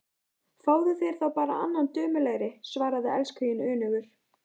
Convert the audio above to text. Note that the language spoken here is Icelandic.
Fáðu þér þá bara annan dömulegri, svaraði elskhuginn önugur.